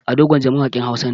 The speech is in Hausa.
Ado Gwanja mawaƙin Hausa ne.